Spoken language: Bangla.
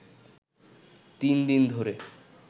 তিন দিন ধরে